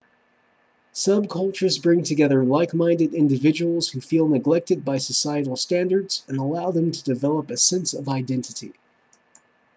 subcultures bring together like-minded individuals who feel neglected by societal standards and allow them to develop a sense of identity